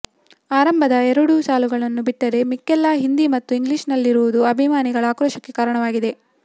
ಆರಂಭದ ಎರಡು ಸಾಲುಗಳು ಬಿಟ್ಟರೆ ಮಿಕ್ಕೆಲ್ಲಾ ಹಿಂದಿ ಮತ್ತು ಇಂಗ್ಲಿಷ್ ನಲ್ಲಿರುವುದು ಅಭಿಮಾನಿಗಳ ಆಕ್ರೋಶಕ್ಕೆ ಕಾರಣವಾಗಿದೆ